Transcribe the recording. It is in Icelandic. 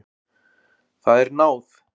Það er náð.